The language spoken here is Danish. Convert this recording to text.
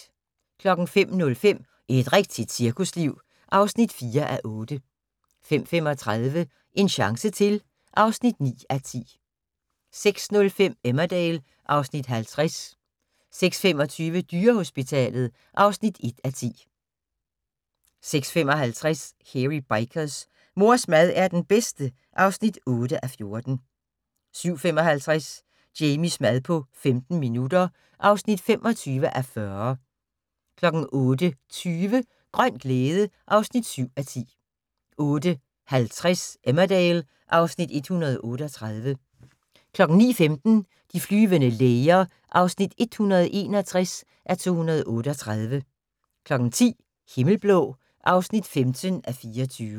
05:05: Et rigtigt cirkusliv (4:8) 05:35: En chance til (9:10) 06:05: Emmerdale (Afs. 50) 06:25: Dyrehospitalet (1:10) 06:55: Hairy Bikers: Mors mad er den bedste (8:14) 07:55: Jamies mad på 15 minutter (25:40) 08:20: Grøn glæde (7:10) 08:50: Emmerdale (Afs. 138) 09:15: De flyvende læger (161:238) 10:00: Himmelblå (15:24)